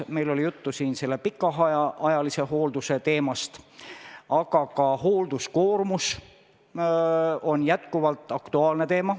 Meil oli siin juttu pikaajalise hoolduse teemast, aga ka hoolduskoormus on jätkuvalt aktuaalne.